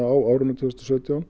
á árinu tvö þúsund og sautján